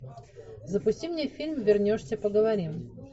запусти мне фильм вернешься поговорим